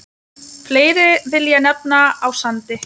Fleiri vil ég nefna á Sandi.